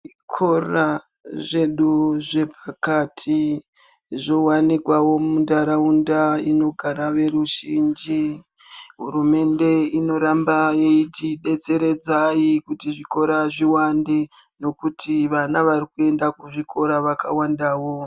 Zvikora zvedu zvepakati zvowanikawo muntaraunda inogara veruzhinji, hurumende inoramba yeitidetseredza kuti zvikora zviwande nekuti vana vari kuenda kuzvikora vakawandawo.